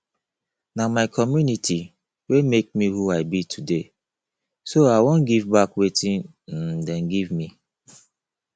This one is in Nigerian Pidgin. na my community wey make me who i be today so i wan give back wetin um dey give me